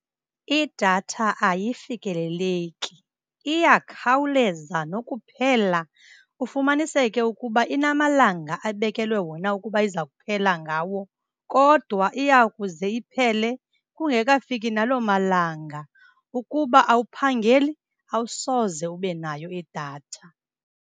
Idatha ayifikeleki, iyakhawuleza nokuphela ufumaniseke ukuba inamalanga abekelwe wona ukuba iza kuphela ngawo, kodwa iyakuze iphele kungekafiki naloo malanga. Ukuba awuphangeli awusoze ube nayo idatha.